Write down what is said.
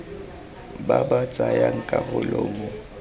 ba ba tsayang karolo mo